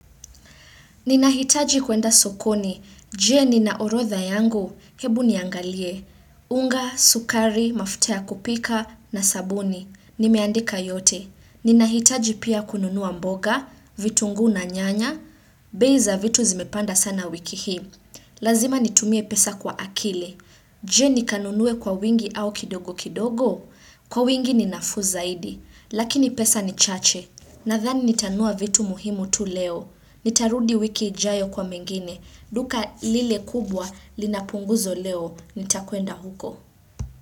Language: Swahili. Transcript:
Ninahitaji kuenda sokoni, jee nina orodha yangu, hebu niangalie, unga, sukari, mafuta ya kupika, na sabuni, nimeandika yote. Ninahitaji pia kununua mboga, vitunguu na nyanya, bei za vitu zimepanda sana wiki hii. Lazima nitumie pesa kwa akili, jee nikanunue kwa wingi au kidogo kidogo, kwa wingi ni nafuu zaidi, lakini pesa ni chache. Nadhani nitanunua vitu muhimu tu leo. Nitarudi wiki ijayo kwa mengine. Duka lile kubwa lina punguzo leo. Nitakweenda huko.